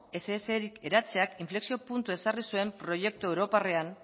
essrik eratzeak inflexio puntu ezarri zuen proiektu europarrean